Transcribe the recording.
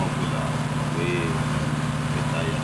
ọbụla wee um weta ya